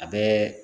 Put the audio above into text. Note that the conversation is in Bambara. A bɛ